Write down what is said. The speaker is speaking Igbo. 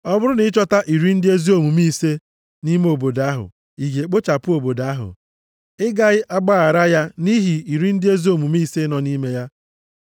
Ọ bụrụ na ị chọta iri ndị ezi omume ise nʼime obodo ahụ, ị ga-ekpochapụ obodo ahụ? Ị gaghị agbaghara + 18:24 Maọbụ, Ị gaghị echebe ya ya nʼihi iri ndị ezi omume ise nọ nʼime ya?